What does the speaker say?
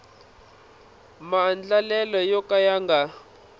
maandlalelo yo ka ya nga